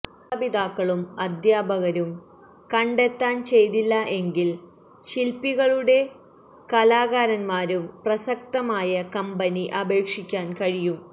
മാതാപിതാക്കളും അധ്യാപകരും കണ്ടെത്താൻ ചെയ്തില്ല എങ്കിൽ ശില്പികളുടെ കലാകാരന്മാരും പ്രസക്തമായ കമ്പനി അപേക്ഷിക്കാൻ കഴിയും